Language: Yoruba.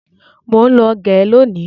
Mọ ń lọ gẹ lónìí.